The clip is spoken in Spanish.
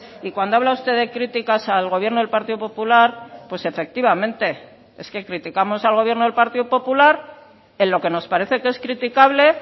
y cuando habla usted de críticas al gobierno del partido popular pues efectivamente es que criticamos al gobierno del partido popular en lo que nos parece que es criticable